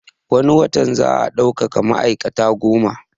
Wani watan za a daukaka ma'aikata goma